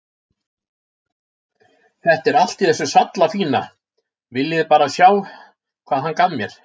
Þetta er allt í þessu sallafína, viljiði bara sjá hvað hann gaf mér.